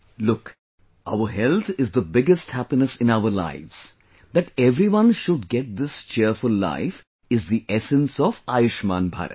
Look, our health is the biggest happiness in our lives, that everyone should get this cheerful life is the essence of Ayushman Bharat